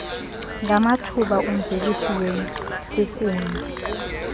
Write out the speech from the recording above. ngamathuba umvelisi wenkunkuna